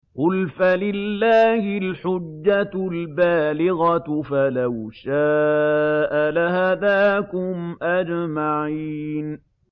قُلْ فَلِلَّهِ الْحُجَّةُ الْبَالِغَةُ ۖ فَلَوْ شَاءَ لَهَدَاكُمْ أَجْمَعِينَ